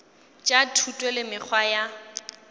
tša thuto le mekgwa ya